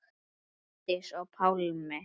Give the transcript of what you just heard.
Bryndís og Pálmi.